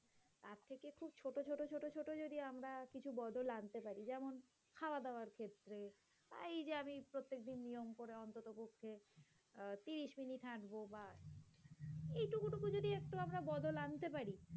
তবুও যদি আমরা কিছু বদল আনতে পারে যেমন খাওয়া-দাওয়ার ক্ষেত্রে। তা এই যে আমি প্রত্যেকদিন নিয়ম করে অন্ততপক্ষে আহ ত্রিশ মিনিট হাঁটব বা এটুকু টুকু যদি একটু আমরা বদল আনতে পারি।